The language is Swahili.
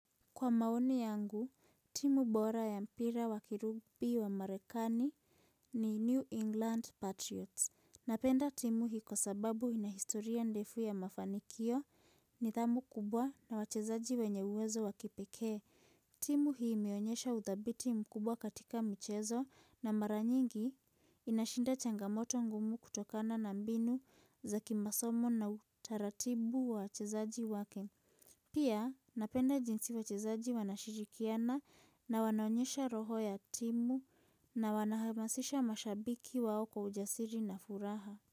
Kwa maoni yangu, timu bora ya mpira wa kirubi wa Marekani ni New England Patriots. Napenda timu hii kwa sababu ina historia ndefu ya mafanikio, nidhamu kubwa na wachezaji wenye uwezo wa kipekee. Timu hii imeonyesha udhabiti mkubwa katika mchezo na mara nyingi inashinda changamoto ngumu kutokana na mbinu za kimasomo na utaratibu wa wachezaji wake. Pia napenda jinsi wachezaji wanashirikiana na wanaonyesha roho ya timu na wanahamasisha mashabiki wao kwa ujasiri na furaha.